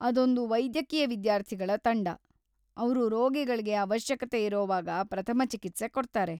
ಅದೊಂದು ವೈದ್ಯಕೀಯ ವಿದ್ಯಾರ್ಥಿಗಳ ತಂಡ, ಅವ್ರು ರೋಗಿಗಳ್ಗೆ ಅವಶ್ಯಕತೆ ಇರೋವಾಗ ಪ್ರಥಮ ಚಿಕಿತ್ಸೆ ಕೊಡ್ತಾರೆ.